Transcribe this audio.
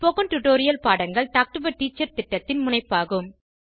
spoken tutorial பாடங்கள் talk to a teacher திட்டத்தின் முனைப்பாகும்